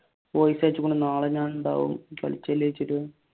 നാളെ ഞാൻ ഉണ്ടാവും